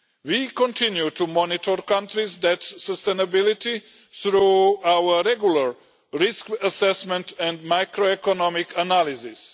We continue to monitor countries' debt sustainability through our regular risk assessment and microeconomic analysis.